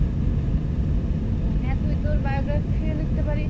হ্যাঁ তুই তোর biography ও লিখতে পারিস।